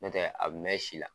Notɛ, a bɛ mɛn si la.